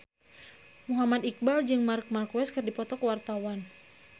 Muhammad Iqbal jeung Marc Marquez keur dipoto ku wartawan